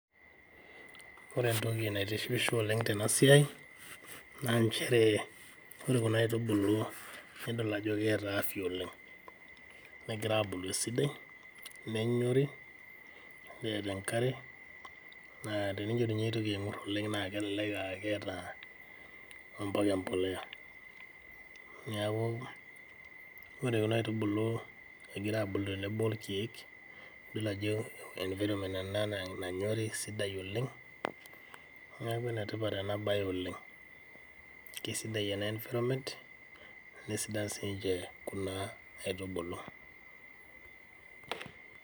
Ore entoki naitishipisho oleng' tenasiai naa nchere ore kuna aitubulu nidol ajo keata afya oleng, negira abulu esidai, nenyori, neeta enkare, naa teneitu ninye king'orr oleng' naa kelelek aakeeta ompaka empolea. Neaku ore ojna aitubulu egira abulu tenebo olkieek idol ajo environment ena nanyori sidai oleng' neaku enetipat ena bae oleng', kesidai ena environment nesidan sinche kuna aitubulu.